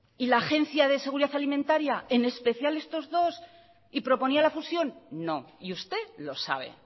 y la agencia de seguridad alimentaria en especial estos dos y proponía la fusión no y usted lo sabe